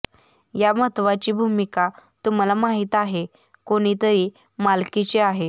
या महत्वाची भूमिका तुम्हाला माहीत आहे कोणीतरी मालकीची आहे